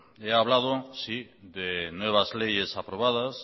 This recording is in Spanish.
he hablado de nuevas leyes aprobadas